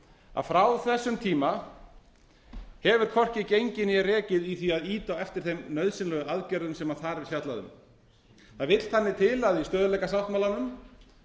að frá þessum tíma hefur hvorki gengið né rekið í því að reka á eftir þeim nauðsynlegu aðgerðum sem þar er fjallað um það vill þannig til að í stöðugleikasáttmálanum